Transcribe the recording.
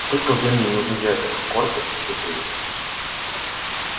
сколько времени нужно для этого коротко спросил куинн